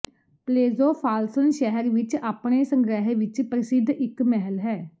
ਪਲੇਜ਼ੋ ਫਾਲਸਨ ਸ਼ਹਿਰ ਵਿੱਚ ਆਪਣੇ ਸੰਗ੍ਰਹਿ ਵਿੱਚ ਪ੍ਰਸਿੱਧ ਇੱਕ ਮਹਿਲ ਹੈ